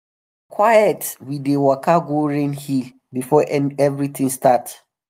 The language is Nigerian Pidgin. quiet we dey waka go rain hill before everything start.